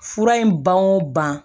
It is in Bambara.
Fura in ban o ban